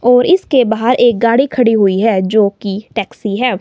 और इसके बाहर एक गाड़ी खड़ी हुई है जोकि टैक्सी है।